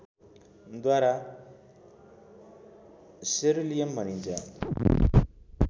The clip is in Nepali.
द्वारा सेरुलियम भनिन्छ